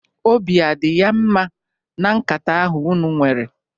Obi adị ya mma na nkata ahụ unu nwere?